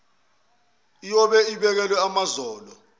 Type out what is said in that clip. iyobe ibekelwe amazolo